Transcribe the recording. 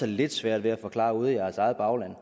lidt svært ved at forklare ude i jeres eget bagland